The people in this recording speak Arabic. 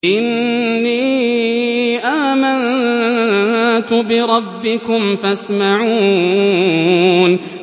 إِنِّي آمَنتُ بِرَبِّكُمْ فَاسْمَعُونِ